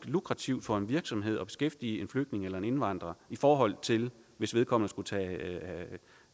lukrativt for en virksomhed at beskæftige en flygtning eller en indvandrer i forhold til hvis vedkommende skulle tage